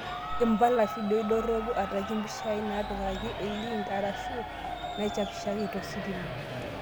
Impala, fidioidorropu ataki mpishai naatpikaki elink arashu naichapishaki tositima.